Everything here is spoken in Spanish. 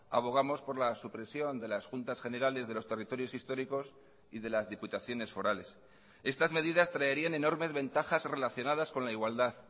abogamos por la supresión de las juntas generales de los territorios históricos y de las diputaciones forales estas medidas traerían enormes ventajas relacionadas con la igualdad